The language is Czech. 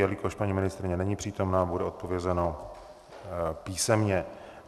Jelikož paní ministryně není přítomna, bude odpovězeno písemně.